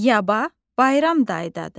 Yaba bayramdadır.